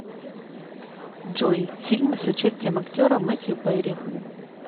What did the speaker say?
джой фильмы с участием актера метью перри